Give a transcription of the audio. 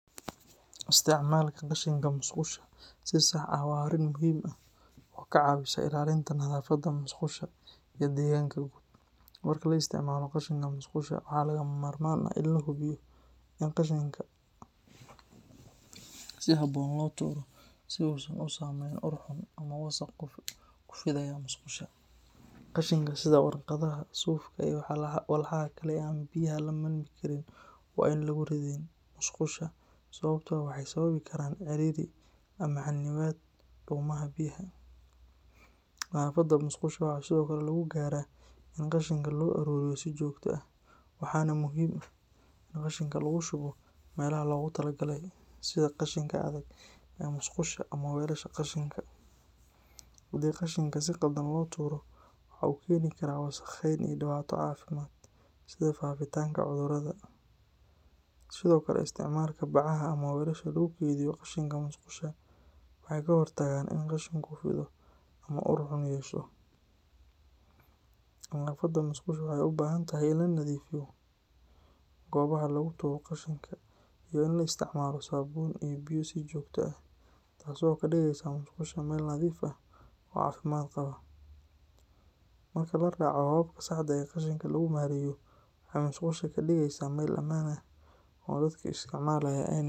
Isticmaalka qashinka musqusha si sax ah waa arrin muhiim ah oo ka caawisa ilaalinta nadaafadda musqusha iyo deegaanka guud. Marka la isticmaalo qashinka musqusha, waxaa lagama maarmaan ah in la hubiyo in qashinka si habboon loo tuuro, si uusan u samayn ur xun ama wasakh ku fidiya musqusha. Qashinka sida waraaqaha, suufka, iyo walxaha kale ee aan biyaha la milmi karin waa in aan lagu ridin musqusha, sababtoo ah waxay sababi karaan ciriiri ama xannibaad dhuumaha biyaha. Nadaafadda musqusha waxaa sidoo kale lagu gaaraa in qashinka la soo aruuriyo si joogto ah, waxaana muhiim ah in qashinka lagu shubo meelaha loogu talagalay, sida qashinka adag ee musqusha ama weelasha qashinka. Haddii qashinka si khaldan loo tuuro, waxa uu keeni karaa wasakheyn iyo dhibaato caafimaad, sida faafitaanka cudurada. Sidoo kale, isticmaalka bacaha ama weelasha lagu kaydiyo qashinka musqusha waxay ka hortagaan in qashinku fido ama uu ur xun yeesho. Nadaafadda musqusha waxay u baahan tahay in la nadiifiyo goobaha lagu tuuro qashinka, iyo in la isticmaalo saabuun iyo biyo si joogto ah, taasoo ka dhigaysa musqusha meel nadiif ah oo caafimaad qaba. Marka la raaco hababka saxda ah ee qashinka lagu maareeyo, waxay musqusha ka dhigaysaa meel ammaan ah oo dadka isticmaalaya.